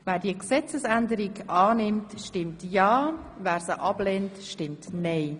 Wer diese Gesetzesänderung annimmt, stimmt ja, wer sie ablehnt, stimmt nein.